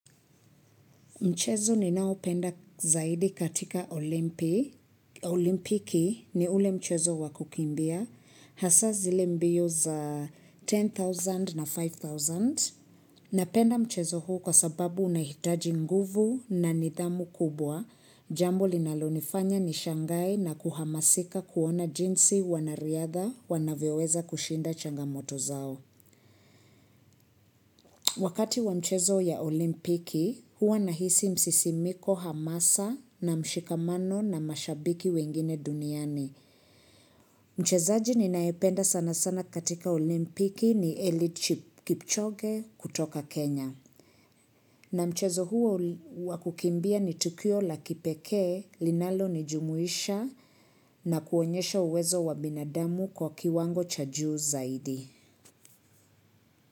Mchezo ninaopenda zaidi katika olimpiki ni ule mchezo wa kukimbia. Hasa zile mbio za 10,000 na 5,000. Napenda mchezo huu kwa sababu unahitaji nguvu na nidhamu kubwa. Jambo linalonifanya nishangae na kuhamasika kuona jinsi wanariadha wanavyoweza kushinda changamoto zao. Wakati wa mchezo ya olimpiki, huwa nahisi msisimiko hamasa na mshikamano na mashabiki wengine duniani. Mchezaji ninayependa sana sana katika olimpiki ni eliud kipchoge kutoka Kenya. Na mchezo huo wa kukimbia ni tukio la kipekee, linalonijumuisha na kuonyesha uwezo wa binadamu kwa kiwango cha juu zaidi.